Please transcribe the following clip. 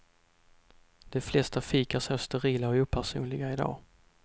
De flesta fik är så sterila och opersonliga i dag.